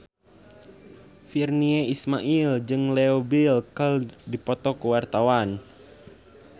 Virnie Ismail jeung Leo Bill keur dipoto ku wartawan